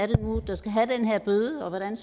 det nu er der skal have den her bøde og hvordan